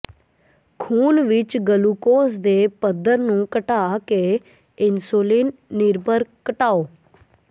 ਖ਼ੂਨ ਵਿੱਚ ਗਲੂਕੋਜ਼ ਦੇ ਪੱਧਰ ਨੂੰ ਘਟਾ ਕੇ ਇਨਸੁਲਿਨ ਨਿਰਭਰ ਘਟਾਓ